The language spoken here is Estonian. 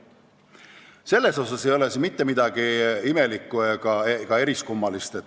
Selles mõttes ei ole siin mitte midagi imelikku ega eriskummalist.